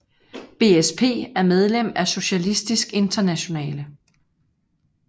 BSP er medlem af Socialistisk Internationale